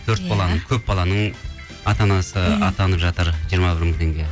төрт баланың көп баланың ата анасы атанып жатыр жиырма бір мың теңге